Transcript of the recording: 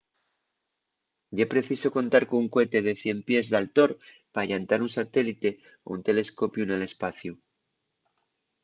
ye preciso contar con un cohete de 100 pies d’altor pa llantar un satélite o un telescopiu nel espaciu